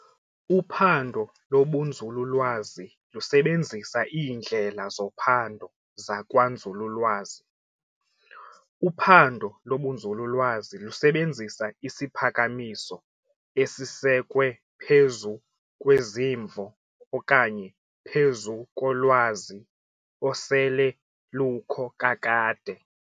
Uphando lobunzululwazi lusebenzisa iindlela zophando zakwanzululwazi. uphando lobunzululwazi lusebenzisa isiphakamiso esisekwe phezu kwezimvo okanye phezu kolwazi osele lukho kakade.